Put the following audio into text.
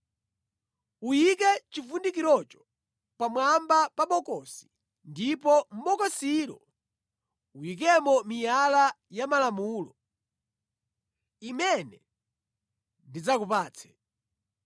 Uyike chivundikirocho pamwamba pa bokosi ndipo mʼbokosilo uyikemo miyala ya malamulo, imene ndidzakupatse.